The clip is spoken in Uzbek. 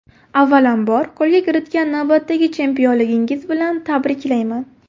Avvalambor, qo‘lga kiritgan navbatdagi chempionligingiz bilan tabriklayman.